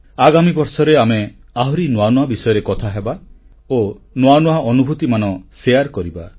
ଆଗାମୀ ବର୍ଷରେ ଆମେ ଆହୁରି ନୂଆ ନୂଆ ବିଷୟରେ କଥାହେବା ଓ ନୂଆ ନୂଆ ଅନୁଭୂତିମାନ ବାଣ୍ଟିବା